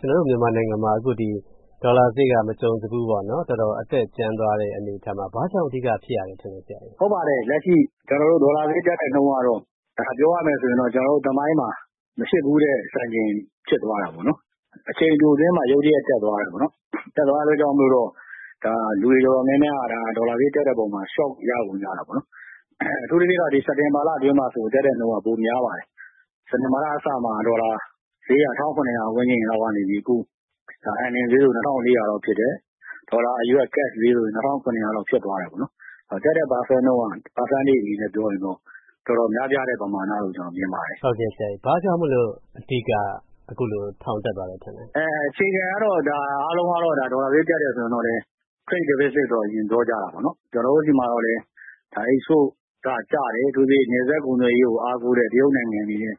ကျနော်တို့မြန်မာနိုင်ငံမှာ ဒေါ်လာဈေးက မကြုံစဖူး တော်တော်အတက်ကြမ်းသွားတဲ့အနေအထားမှာ ဘာကြောင့် အဓိက ဖြစ်ရတယ်ထင်သလဲ ဆရာ။ ဟုတ်ပါတယ်။ ဒေါ်လာဈေးကျတဲ့နှုန်းကတော့ ပြောရမယ်ဆိုရင်တော့ သမိုင်းမှာ မဖြစ်ဖူးတဲ့စံချိန် ဖြစ်သွားတာပေါ့နော်။ အချိန်တိုအတွင်းမှာ ရုတ်တရက်တက်သွားတယ်ပေါ့နော်။ အဲဒါကြောင့်မို့လို့ လူတွေအတော်များများက ဒေါ်လာဈေးတက်တဲ့အပေါ်မှာ Shock ရကုန်ကြတာပေါ့နော်။ အထူးသဖြင့်က စက်တင်ဘာလအတွင်းမှာ တက်တဲ့နှုန်းက ပိုများပါတယ်။ စက်တင်ဘာလအစမှာ ေ ဒါ်လာဈေးက ၁,၇၀၀ ဝန်းကျင်လောက်ကနေပြီး အခု Earning ဈေးဆို ၂,၄၀၀ လောက်ဖြစ်တယ်။ ဒေါ်လာအရွက် ဈေးဆို ၂,၇၀၀ လောက်ဖြစ်သွားတယ်။ တက်တဲ့ Percentage အနေနဲ့ပြောရရင်တော့ တော်တော်များပြားတဲ့ ပမာဏလို့ ကျနော်မြင်ပါတယ်။ ဟုတ်ကဲ့၊ ဘာကြောင့်မို့လို့ အဓိက အခုလို ထောင်တက်သွားရတယ် ထင်လဲ။ အခြေခံကတော့ အားလုံးက ဒေါ်လာ ဈေး တက်တယ်ဆိုရင် Trade Deficit တော့ အရင်ပြောကြတာပေါ့နော်။ ကျနော်တို့ဆီမှာကျတော့လည်း Export ကကျတယ်။ အထူးသဖြင့် နယ်စပ်ကုန်သွယ်ရေးကိုအားကိုးတဲ့ တရုတ်နိုင်ငံအနေနဲ့